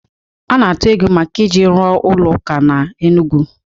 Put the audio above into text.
A na-atụ ego maka iji rụọ ụlọ ụka na Enugwu